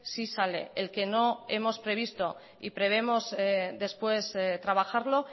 sí sale el que no hemos previsto y prevemos después trabajarlo